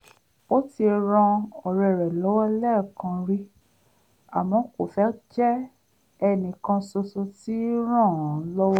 ó ti ran ọ̀rẹ́ rẹ̀ lọ́wọ́ lẹ́ẹ̀kan rí àmọ́ kò fẹ́ jẹ́ ẹnìkan ṣoṣo tí ń ràn án lọ́wọ́